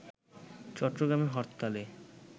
চট্টগ্রামে হরতালে